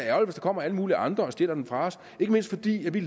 kommer alle mulige andre og stjæler dem fra os ikke mindst fordi vi